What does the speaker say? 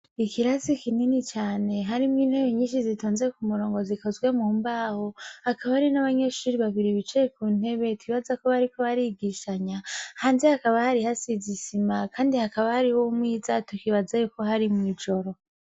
Ikirasi kinini cane harimwo intebe nyinshi zitonze kumurongo zikozwe mu mbaho hakaba hari n' abanyeshure babiri bicaye kuntebe nibaza ko bariko barigishanya hanze hasize isima kandi hari umwiza tukibaza ko ari mwijoro.